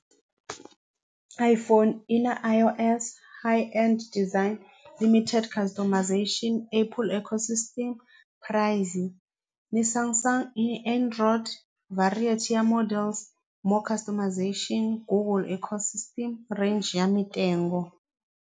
iPhone i na I_O_S and design limited customization apple ecosystem price ni Samsung i Android variety ya models more customization Google ecosystem range ya .